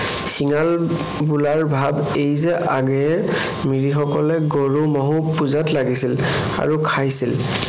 শিঙাল বোলাৰ ভাৱ এই যে আগেয়ে মিৰিসকলে গৰু মহো পূজাত লাগিছিল আৰু খাইছিল।